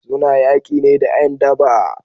Suna yaki ne da 'yan daba